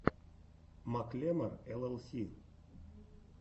маклемор эл эл си